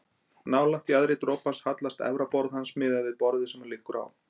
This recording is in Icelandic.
Nálægt jaðri dropans hallast efra borð hans miðað við borðið sem hann liggur á.